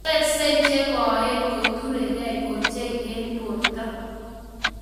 Wiseek che koen ko keturekei ochei eng borto.